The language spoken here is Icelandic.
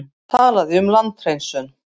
Talaði um landhreinsun.